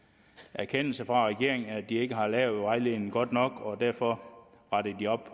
erkendelse fra regeringens side af at de ikke har lavet vejledningen godt nok og derfor retter de op